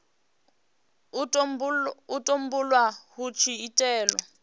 u tumbulwa hu tshi itelwa